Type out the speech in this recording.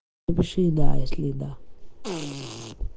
то больше и да если да